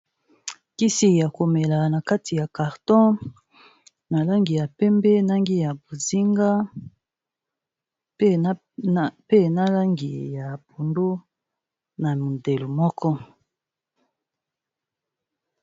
Kisi ya komela na kati ya carton na langi ya pembe, langi ya bozinga, pe na langi ya pondu, na mondelo moko.